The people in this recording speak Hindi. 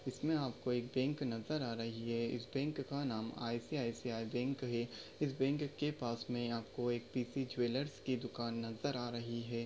इसमे आपको एक बैंक नजर आ रही है इस बैंक का नाम आय.सी.आय.सी.आय बैंक है इस बैंक के पास आपको एक पीसी ज्वेलर्स की दुकान नजर आ रही है।